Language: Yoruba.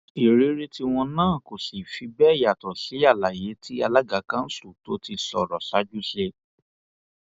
ìrírí tiwọn náà kò sì fi bẹẹ yàtọ sí àlàyé tí alága kanṣu tó ti sọrọ ṣáájú ṣe